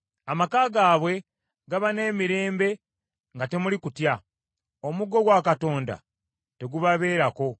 Amaka gaabwe gaba n’emirembe nga temuli kutya; omuggo gwa Katonda tegubabeerako.